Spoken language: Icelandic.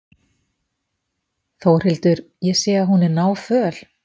Þórhildur: Ég sé að hún er náföl?